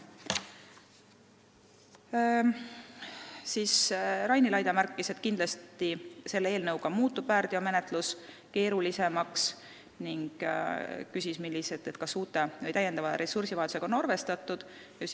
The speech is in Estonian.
Raini Laide märkis, et kindlasti muutub selle eelnõu tõttu väärteomenetlus keerulisemaks, ning küsis, kas täiendava ressursivajadusega on arvestatud.